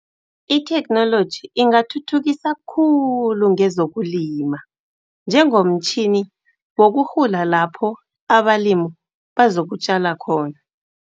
Itheknoloji ingathuthukisa khulu ngezokulima, njengomtjhini wokurhula lapho abalimi bazokutjala khona.